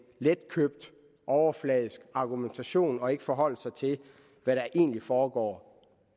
letkøbt overfladisk argumentation og ikke forholder sig til hvad der egentlig foregår